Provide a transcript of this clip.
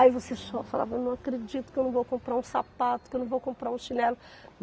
Aí você cho falava, eu não acredito que eu não vou comprar um sapato, que eu não vou comprar um chinelo.